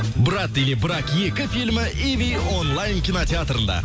брат или брак екі фильмі иви онлайн кинотеатрында